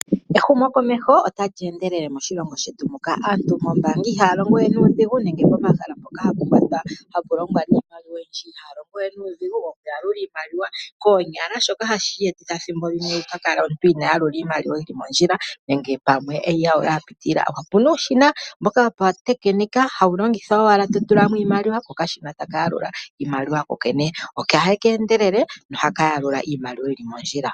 Ehumokomeho otali endelele moshilongo shetu muka. Aantu moombanga ihaya longowe nuudhigu nenge pomahala mpoka hapu longwa niimaliwa oyindji ihaya longowe nuudhigu wokuyalula iimaliwa koonyala shoka hashi etitha thimbo limwe omuntu a kale inaa yalula iimaliwa mondjila , nenge pamwe e yi yalula ya pitilila, opu na uushina wopautekinika hawu longithwa owala to tula mo iimaliwa kokashina taka yalula iimaliwa ku kokene. Ohaka endelele noha ka yalula iimaliwa yi li mondjila.